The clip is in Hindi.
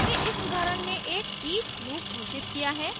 मैंने इस उदाहरण में एक each लूप घोषित किया है